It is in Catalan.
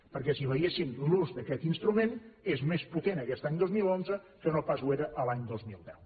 perquè si veiessin l’ús d’aquest instrument és més potent aquest any dos mil onze que no pas ho era l’any dos mil deu